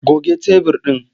Goge tebur ɗin!